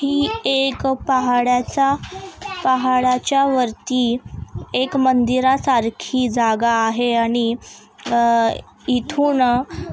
हि एक पहाडच पहाडाच्या वरती एक मंदिर सारखी जागा आहे आणि आ इथून--